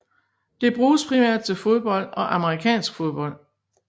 Det bruges primært til fodbold og amerikansk fodbold